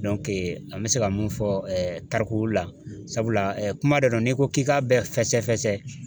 an bɛ se ka mun fɔ tariku la sabula kuma dɔ la n'i ko k'i k'a bɛɛ fɛsɛfɛsɛ